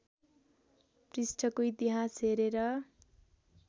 पृष्ठको इतिहास हेरेर